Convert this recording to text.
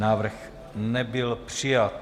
Návrh nebyl přijat.